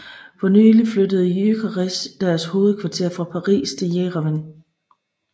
Fornylig flyttede Lycos deres hovedkvarter fra Paris til Jerevan